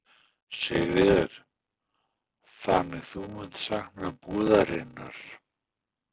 Sigríður: Þannig þú munt sakna búðarinnar?